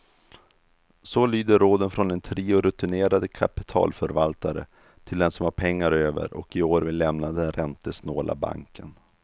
Så lyder råden från en trio rutinerade kapitalförvaltare till den som har pengar över och i år vill lämna den räntesnåla banken.